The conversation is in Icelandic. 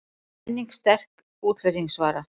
Menning sterk útflutningsvara